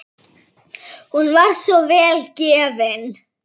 Hún var svo vel gefin.